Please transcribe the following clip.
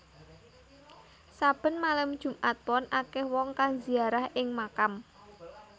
Saben malem Jumat Pon akeh wong kang ziarah ing makam